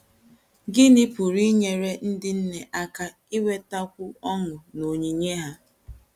Gịnị pụrụ inyeré ndị nne aka inwetakwu ọ̀ṅụ n'onyinye ha?